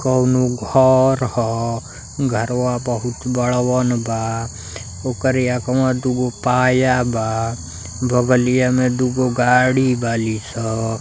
कौनो घर ह। घरवा बहुत बड़वन बा। ओकरे अगवा दुगो पाया बा। बगलिया में दूगो गाड़ी बाली स।